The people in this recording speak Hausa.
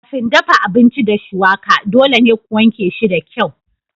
Kafin dafa abinci da shuwaka dole ne ku wanke shi da kyau.